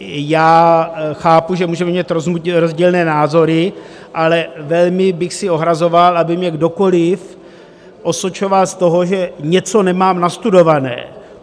Já chápu, že můžeme mít rozdílné názory, ale velmi bych se ohrazoval, aby mě kdokoliv osočoval z toho, že něco nemám nastudované.